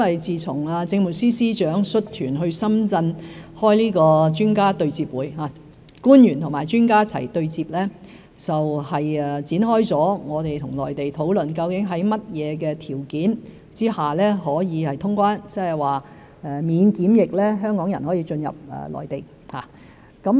自從政務司司長率團到深圳進行專家對接會，官員與專家一起對接，我們與內地展開討論在甚麼條件下可以通關，即是說香港人可以免檢疫進入內地。